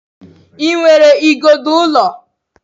Ị nwere igodo ụlọ?